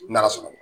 N'ala sɔnn'a ma